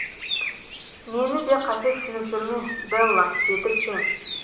мені де қате түсініп жүрме делла деді джим